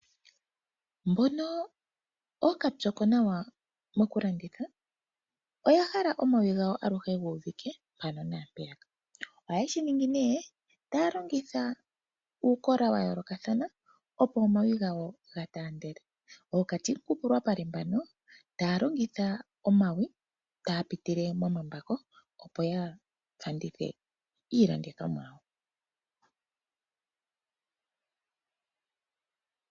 Mbono ookapyoko nawa mokulanditha oya hala omawi gawo aluhe gu uvika ano mpeya naa mpeyaka oha yeshi ningi nee ta ya longitha uukola wa yoolokathana opo omawi gawo ga taandele. Ookatimukupulwapale mbano ta ya longitha omawi ta ya pitile momambako opo ya landithe iilandithomwa.